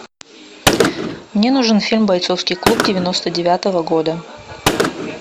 мне нужен фильм бойцовский клуб девяносто девятого года